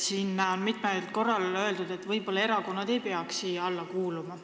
Siin on mitmel korral öeldud, et võib-olla ei peaks erakonnad siia alla kuuluma.